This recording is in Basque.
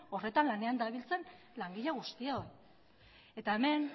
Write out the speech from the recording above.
horretan lanean dabiltzan langile guztioi eta hemen